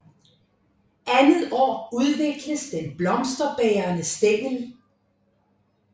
Andet år udvikles den blomsterbærende stængel